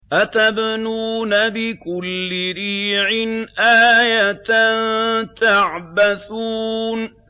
أَتَبْنُونَ بِكُلِّ رِيعٍ آيَةً تَعْبَثُونَ